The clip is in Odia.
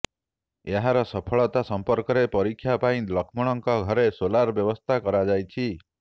ଏହାର ସଫଳତା ସମ୍ପର୍କରେ ପରୀକ୍ଷା ପାଇଁ ଲକ୍ଷ୍ମଣ ଙ୍କ ଘରେ ସୋଲାର ବ୍ୟବସ୍ଥା କରାଯାଇଛି